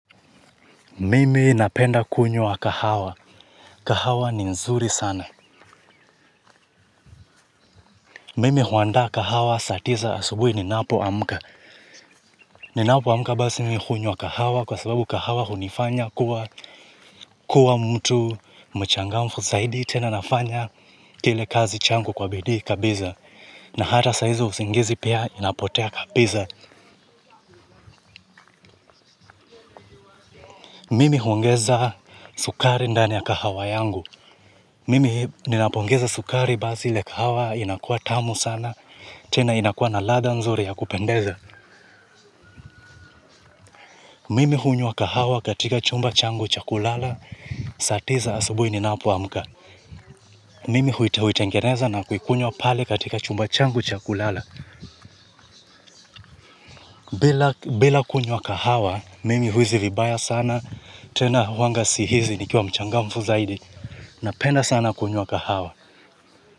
Mimi napenda kunywa kahawa. Kahawa ni nzuri sana. Mimi huanda kahawa saa tisa asubui ninapoamka. Ninapoamka basi mimi hunywa kahawa kwa sababu kahawa hunifanya kuwa mtu mchangamfu. Zaidi tena nafanya telekazi changu kwa bidii kabiza. Na hata saizo usingizi pia inapotea kabiza. Mimi huongeza sukari ndani ya kahawa yangu mimi ninapongeza sukari basi ile kahawa inakuwa tamu sana. Tena inakua na ladha nzuri ya kupendeza mimi hunywa kahawa katika chumba changu cha kulala saa tisa asubui ninapoamka mimi huitengeneza na kuikunywa pale katika chumba changu cha kulala bila kunywa kahawa, mimi huhisi vibaya sana tena huwa sahizi nikiwa mchangamfu sana napenda sana kunywa kahawa.